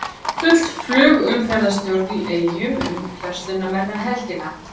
Full flugumferðarstjórn í Eyjum um verslunarmannahelgina